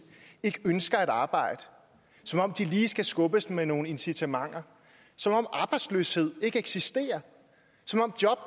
ikke ønsker at arbejde som om de lige skal skubbes med nogle incitamenter som om arbejdsløshed ikke eksisterer og som om job